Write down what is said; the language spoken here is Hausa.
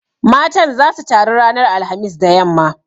Matan zasu taru ranar alhamis da yamma.